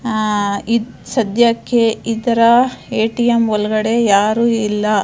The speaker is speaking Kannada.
ಅಹ್ ಇದ ಸದ್ಯಕ್ಕೆ ಇದರ ಎ_ಟಿ_ಎಂ ಒಳಗಡೆ ಯಾರು ಇಲ್ಲ.